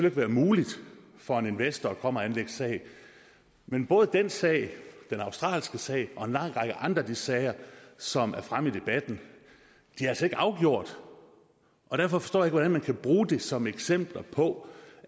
ikke være muligt for en investor at komme og anlægge sag men både den sag og den australske sag og en lang række andre af de sager som er fremme i debatten er altså ikke afgjort og derfor forstår jeg ikke hvordan man kan bruge det som eksempler på